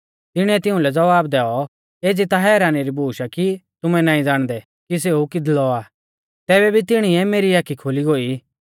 तिणीऐ तिऊं लै ज़वाब दैऔ एज़ी ता हैरानी री बूश आ कि तुमै नाईं ज़ाणदै कि सेऊ किदलौ आ तैबै भी तिणीऐ मेरी आखी खोली गोई